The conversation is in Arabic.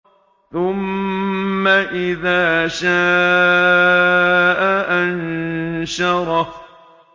ثُمَّ إِذَا شَاءَ أَنشَرَهُ